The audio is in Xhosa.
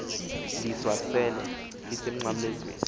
ndiswa sele lisemnqamlezweni